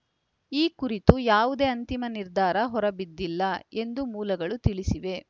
ಈ ಕುರಿತು ಯಾವುದೇ ಅಂತಿಮ ನಿರ್ಧಾರ ಹೊರಬಿದ್ದಿಲ್ಲ ಎಂದು ಮೂಲಗಳು ತಿಳಿಸಿವೆ